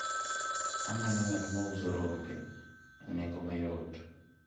amanyo ng'at ma uso rombo e nengo mayot